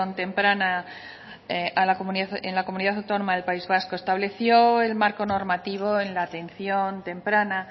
temprana en la comunidad autónoma del país vasco estableció el marco normativo en la atención temprana